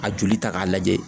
A joli ta k'a lajɛ